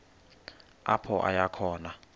apho aya khona